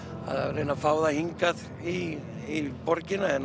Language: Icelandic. að reyna að fá það hingað í borgina er